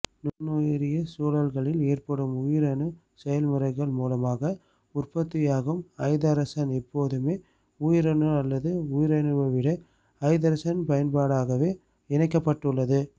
நுண்ணுயிரிய சூழல்களில் ஏற்படும் உயிரணுச் செயல்முறைகள் மூலமாக உற்பத்தியாகும் ஐதரசன் எப்போதுமே உயிரணு அல்லது உயிரணுவிடை ஐதரசன் பயன்பாடாகவே இணைக்கப்பட்டுள்ளது